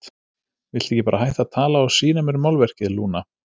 Viltu ekki bara hætta að tala og sýna mér málverkið, Lúna?